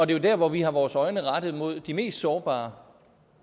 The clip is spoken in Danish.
det er der hvor vi har vores øjne rettet mod de mest sårbare